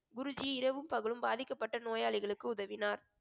குருஜி இரவும் பகலும் பாதிக்கப்பட்ட நோயாளிகளுக்கு உதவினார்